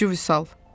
Topçu Vüsal.